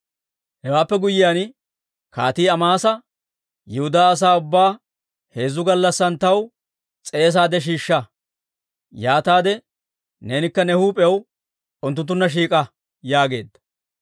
Hewaappe guyyiyaan kaatii Amaasa, «Yihudaa asaa ubbaa heezzu gallassan taw s'eesaade shiishsha; yaataade neenikka ne huup'iyaw unttunttunna shiik'a» yaageedda.